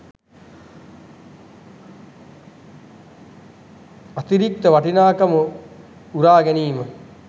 අතිරික්ත වටිනාකම උරා ගැනීම